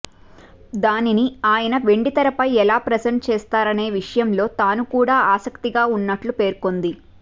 దానిని ఆయన వెండి తెరపై ఎలా ప్రజెంట్ చేస్తారనే విషయంలో తాను కూడా ఆసక్తిగా ఉన్నట్లు పేర్కొంది